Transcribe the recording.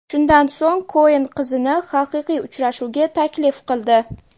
Shundan so‘ng Koen qizni haqiqiy uchrashuvga taklif qildi.